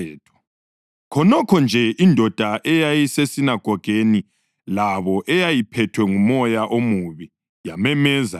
Khonokho nje indoda eyayisesinagogeni labo eyayiphethwe ngumoya omubi yamemeza yathi,